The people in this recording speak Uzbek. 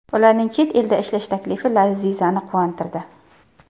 Ularning chet elda ishlash taklifi Lazizani quvontirdi.